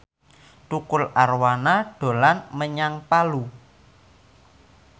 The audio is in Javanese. Tukul Arwana dolan menyang Palu